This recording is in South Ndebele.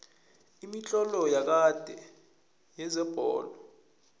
imitlolo yakade yezebholo